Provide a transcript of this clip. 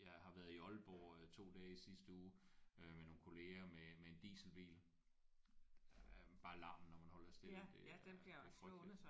Jeg har været i Aalborg 2 dage i sidste uge øh med nogle kollegaer med med en dieselbil. Bare larmen når man holder stille det er det er frygteligt